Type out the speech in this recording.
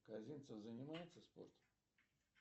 казинцев занимается спортом